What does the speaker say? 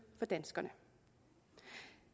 for danskerne